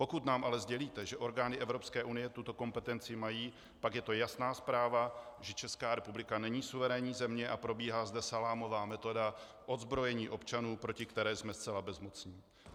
Pokud nám ale sdělíte, že orgány Evropské unie tuto kompetenci mají, tak je to jasná zpráva, že Česká republika není suverénní země a probíhá zde salámová metoda odzbrojení občanů, proti které jsme zcela bezmocní.